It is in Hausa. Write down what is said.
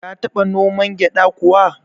Ka taba noman gyada kuwa?